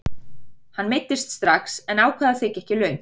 Hann meiddist strax en ákvað að þiggja ekki laun.